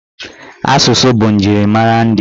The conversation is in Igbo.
Asụsụ bụ njirimara ndị.